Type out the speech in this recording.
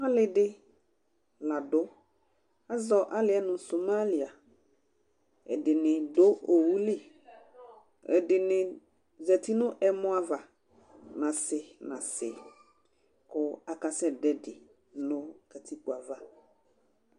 ali di la do azɔ aliɛ no Somalia ɛdini do owu li ɛdini zati no ɛmɔ ava n'ase n'ase kò aka sɛ do ɛdi no katikpo ava